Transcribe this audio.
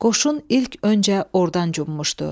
Qoşun ilk öncə ordan cummuşdu.